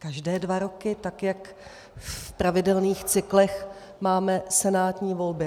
Každé dva roky, tak jak v pravidelných cyklech máme senátní volby.